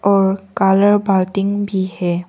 और कालर बाल्टिंग भी है।